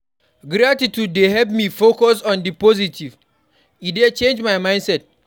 Gratitude dey help me focus on di positive; e dey change my mindset.